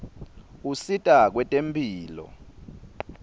usita kwetemphilo